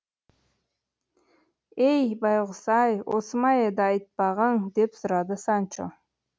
ей байғұс ай осы ма еді айтпағың деп сұрады санчо